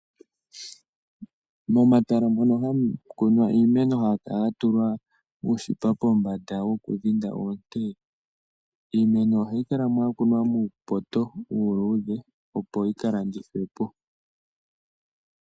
Momatala moka hamu kunwa iimeno, ohayi kala ya tulwa uushipe pombanda woku keelela oonte. Iimeno ohayi kalamo ya kunwa muupoto uuludhe opo yika landithwepo